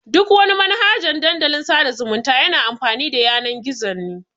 Duk wani Manhaja Dandalin sada zumunta yana amfani da Yanan-gizo ne.